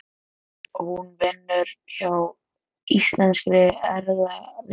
Hún vinnur hjá Íslenskri erfðagreiningu.